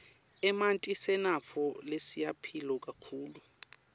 emanti sinatfo lesiyimphilo kakhulu